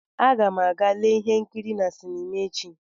Aga m aga lee ihe nkiri na sinima echi.